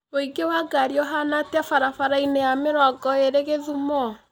ũingĩ wa ngari ũhaana atĩa barabara-inĩ ya mĩrongo ĩĩrĩ githumo